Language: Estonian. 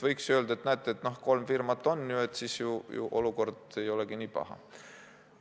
Võiks öelda, et näete, kolm firmat on, seega olukord ei olegi nii paha.